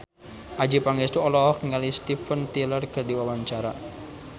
Adjie Pangestu olohok ningali Steven Tyler keur diwawancara